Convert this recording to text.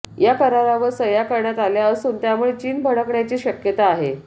या करारावर सह्या करण्यात आल्या असून यामुळे चीन भडकण्याची शक्यता आहे